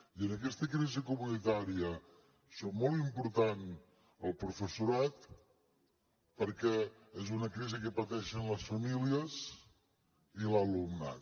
i en aquesta crisi comunitària és molt important el professorat perquè és una crisi que pateixen les famílies i l’alumnat